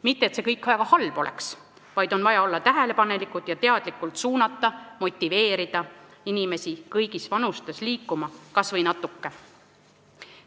Mitte et see kõik väga halb oleks, kuid on vaja olla tähelepanelik ning teadlikult suunata ja motiveerida igas vanuses inimesi kas või natuke liikuma.